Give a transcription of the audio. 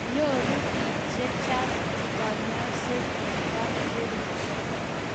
nyoru biik che chang kanyoiset eng kapkerich